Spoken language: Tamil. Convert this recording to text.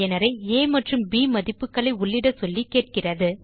பயனரை ஆ மற்றும் ப் மதிப்புகளை உள்ளிட சொல்லி கேட்கிறது